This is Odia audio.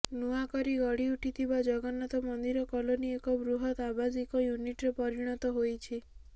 ନୂଆକରି ଗଢ଼ି ଉଠିଥିବା ଜଗନ୍ନାଥ ମନ୍ଦିର କଲୋନୀ ଏକ ବୃହତ ଆବାସିକ ୟୁନିଟ୍ରେ ପରିଣତ ହୋଇଛି